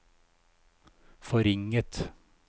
forringet